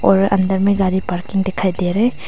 और अंदर में गाड़ी पार्किंग दिखाई दे रहे--